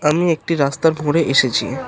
আমি একটি রাস্তার এসেছি।